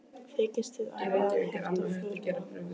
Þykist þið ætla að hefta för mína?